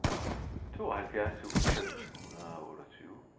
tooghalvfjerds tusind fem hundrede og otteogtyve